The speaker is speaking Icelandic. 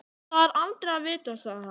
Það er aldrei að vita sagði hann.